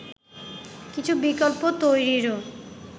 কিছু বিকল্প তৈরিরও